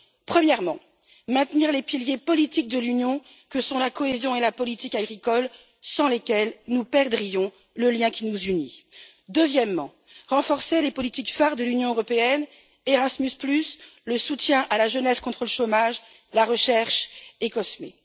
Premièrement, maintenir les piliers politiques de l'Union que sont la cohésion et la politique agricole sans lesquels nous perdrions le lien qui nous unit. Deuxièmement, renforcer les politiques phares de l'Union européenne Erasmus le soutien à la jeunesse contre le chômage, la recherche et COSME.